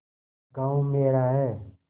गॉँव मेरा है